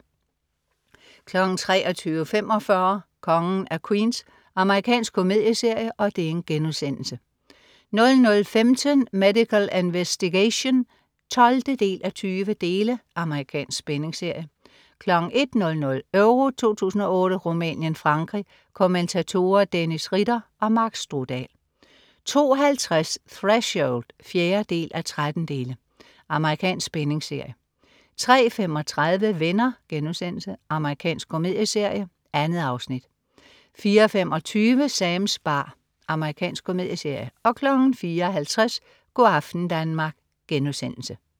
23.45 Kongen af Queens. Amerikansk komedieserie* 00.15 Medical Investigation 12:20. Amerikansk spændingsserie 01.00 EURO 2008: Rumænien-Frankrig. Kommentatorer: Dennis Ritter og Mark Strudal 02.50 Threshold 4:13. Amerikansk spændingsserie 03.35 Venner.* Amerikansk komedieserie. 2 afsnit 04.25 Sams bar. Amerikansk komedieserie 04.50 Go' aften Danmark*